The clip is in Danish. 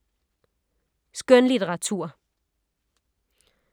Skønlitteratur